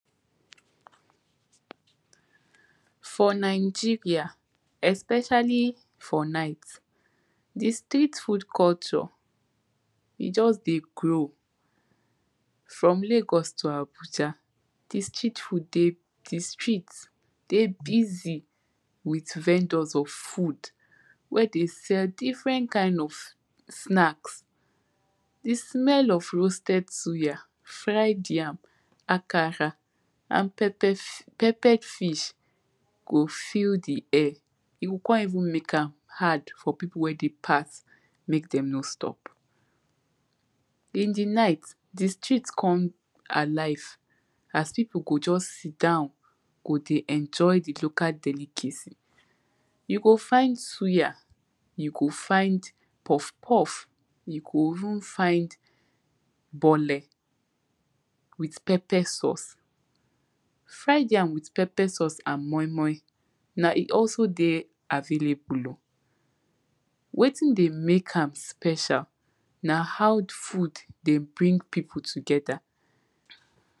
For Nigeria especially for night, di Street food culture e just dey grow from Lagos to Abuja di Street food dey, di street dey busy with vendors of food wey dey sell different kind of snacks, di smell of roasted suya, fried yam, akara and pepper peppered fish go filled di air e go kon even make am hard for pipu wey dey pass make dem no stop. In di night di street come alive as pipu go just sit down go dey enjoy di local delicacy. You go find suya, you go find puff puff, you go even find bole with pepper sauce, fried yam with pepper sauce and moimoi na e also dey available oh, wetin dey make am special na how food dey bring pipu together.